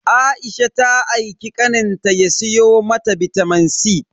Aisha ta aiki kaninta ya siyo mata bitamin C.